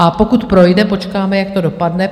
A pokud projde, počkáme, jak to dopadne.